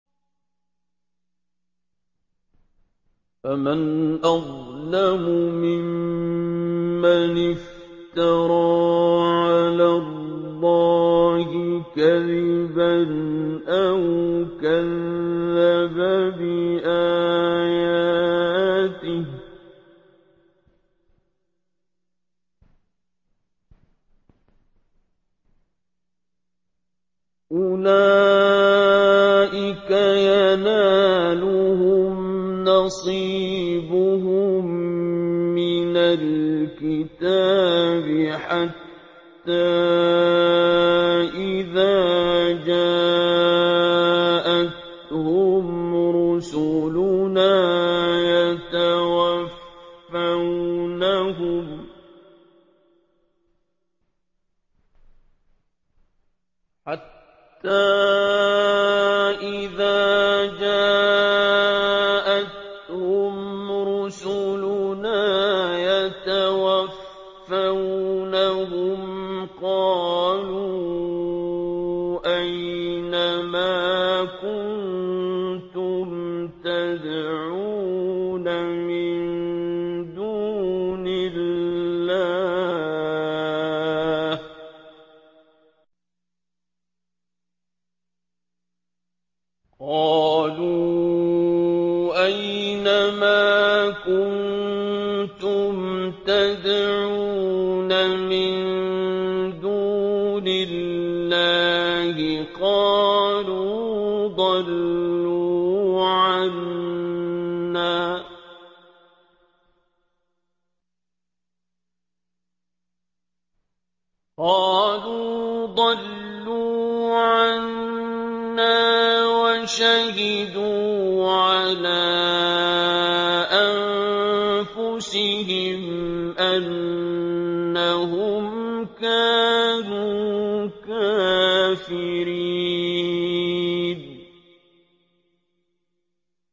فَمَنْ أَظْلَمُ مِمَّنِ افْتَرَىٰ عَلَى اللَّهِ كَذِبًا أَوْ كَذَّبَ بِآيَاتِهِ ۚ أُولَٰئِكَ يَنَالُهُمْ نَصِيبُهُم مِّنَ الْكِتَابِ ۖ حَتَّىٰ إِذَا جَاءَتْهُمْ رُسُلُنَا يَتَوَفَّوْنَهُمْ قَالُوا أَيْنَ مَا كُنتُمْ تَدْعُونَ مِن دُونِ اللَّهِ ۖ قَالُوا ضَلُّوا عَنَّا وَشَهِدُوا عَلَىٰ أَنفُسِهِمْ أَنَّهُمْ كَانُوا كَافِرِينَ